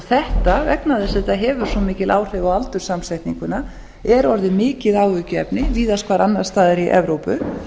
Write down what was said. þetta vegna þess að þetta hefur svo mikil áhrif á aldurssamsetninguna er orðið mikið áhyggjuefni víðast hvar annars staðar í evrópu